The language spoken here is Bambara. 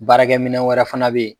Baarakɛ minɛn wɛrɛ fana bɛ ye.